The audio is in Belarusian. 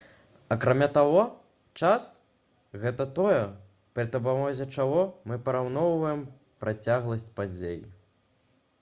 акрамя таго час гэта тое пры дапамозе чаго мы параўноўваем працягласць падзей